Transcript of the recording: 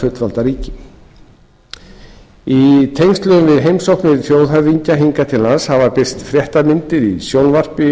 vorrar í tengslum við heimsóknir þjóðhöfðingja hingað til lands hafa birst fréttamyndir í sjónvarpi